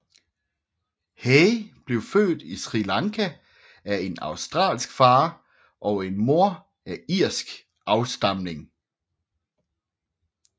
Hay blev født i Sri Lanka af en australsk far og en mor af irsk afstamning